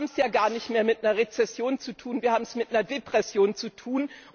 Wir haben es ja gar nicht mehr mit einer Rezession zu tun, wir haben es mit einer Depression zu tun.